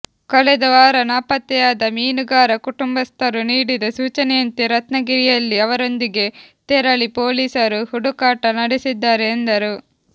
ಕಳೆದ ವಾರ ನಾಪತ್ತೆಯಾದ ಮೀನುಗಾರ ಕುಟುಂಬಸ್ಥರು ನೀಡಿದ ಸೂಚನೆಯಂತೆ ರತ್ನಗಿರಿಯಲ್ಲಿ ಅವರೊಂದಿಗೆ ತೆರಳಿ ಪೊಲೀಸರು ಹುಡುಕಾಟ ನಡೆಸಿದ್ದಾರೆ ಎಂದರು